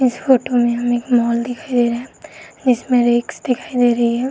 इस फोटो में एक मॉल दिखाई दे रहा हैं। इसमें रेक्स दिखाई दे रही है।